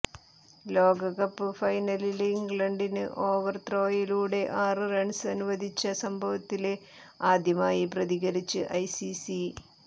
ലോകകപ്പ് ഫൈനലില് ഇംഗ്ലണ്ടിന് ഓവര് ത്രോയിലൂടെ ആറ് റണ്സ് അനുവദിച്ച സംഭവത്തില് ആദ്യമായി പ്രതികരിച്ച് ഐസിസി